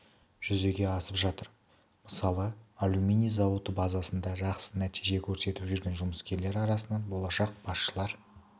жүзеге асып жатыр мысалы алюминий зауыты базасында жақсы нәтиже көрсетіп жүрген жұмыскерлер арасынан болашақ басшылар